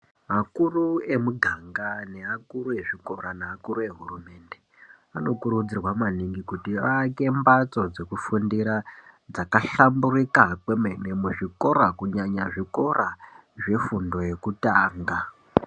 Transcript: Akuru emuganga nevakuru vezvikora nevakuru vehurumende vanokurudzirwa maningi kuti vavake mbatso dzekufundira dzakahlamburuka kwemene muzvikora kunyanya zvikora zvekutanga.